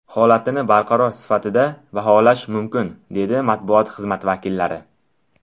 Holatini barqaror sifatida baholash mumkin”, dedi matbuot xizmati vakillari.